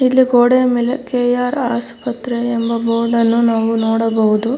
ಇಲ್ಲಿ ಗೋಡೆಯ ಮೇಲೆ ಕೆ.ಆರ್ ಆಸ್ಪತ್ರೆ ಎಂಬ ಬೋರ್ಡ್ ಅನ್ನು ನಾವು ನೋಡಬಹುದು.